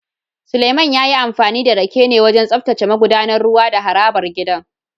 Suleiman ya yi amfani da rake ne wajen tsaftace magudanar ruwa da harabar gidan